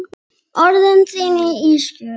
Orð þín eru ísköld.